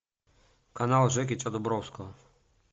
канал жекича дубровского